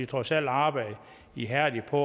trods alt arbejdet ihærdigt på